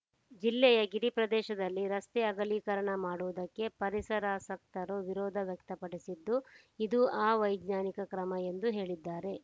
ಜಿಲ್ಲೆಯ ಗಿರಿ ಪ್ರದೇಶದಲ್ಲಿ ರಸ್ತೆ ಅಗಲೀಕರಣ ಮಾಡುವುದಕ್ಕೆ ಪರಿಸರಾಸಕ್ತರು ವಿರೋಧ ವ್ಯಕ್ತಪಡಿಸಿದ್ದು ಇದು ಅವೈಜ್ಞಾನಿಕ ಕ್ರಮ ಎಂದು ಹೇಳಿದ್ದಾರೆ